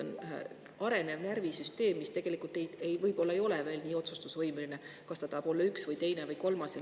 Neil on arenev närvisüsteem, nad võib-olla ei ole veel nii otsustusvõimelised kas tahavad olla üks või teine või kolmas.